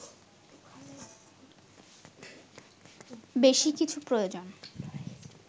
বেশি কিছু প্রয়োজন